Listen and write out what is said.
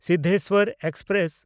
Siddheshwar express